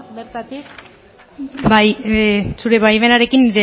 bertatik bai zure baimenarekin